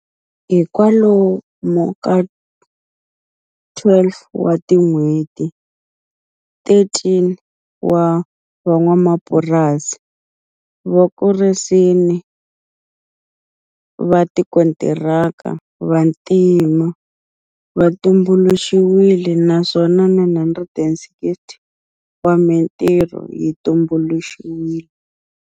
Hi kwalomu ka 12 wa tin'hweti, 13 wa van'wamapurasi va vakurisi va tikontiraka vantima va tumbuluxiwile naswona 960 wa mitirho yi tumbuluxiwile.